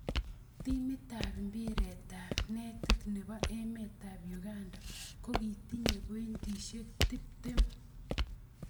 Timitab impiretab netit nebo emetab Uganda kokitinyei pointisyek tiptem.